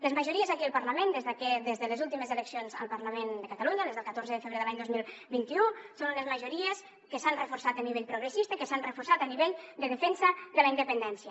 les majories aquí al parlament des de les últimes eleccions al parlament de catalunya les del catorze de febrer de l’any dos mil vint u són unes majories que s’han reforçat a nivell progressista i que s’han reforçat a nivell de defensa de la independència